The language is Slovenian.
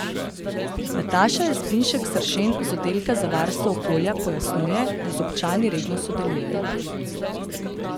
Nataša Jazbinšek Seršen z oddelka za varstvo okolja pojasnjuje, da z občani redno sodelujejo.